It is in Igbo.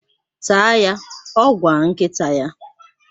Taa ya! Ọ ga-agwa nkịta ya.